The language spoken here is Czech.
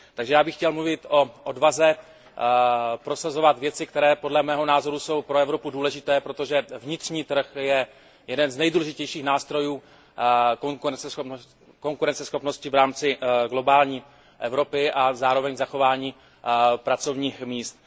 Takže já bych chtěl mluvit o odvaze prosazovat věci, které podle mého názoru jsou pro Evropu důležité, protože vnitřní trh je jeden z nejdůležitějších nástrojů konkurenceschopnosti v rámci globální Evropy a zároveň zachování pracovních míst.